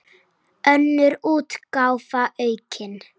Önnur útgáfa, aukin.